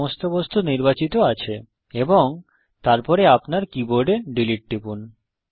সমস্ত বস্তু নির্বাচিত আছে এবং তারপরে আপনার কীবোর্ডে ডিলীট টিপুন